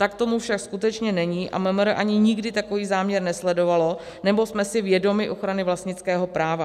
Tak tomu však skutečně není a MMR ani nikdy takový záměr nesledovalo, neboť jsme si vědomi ochrany vlastnického práva.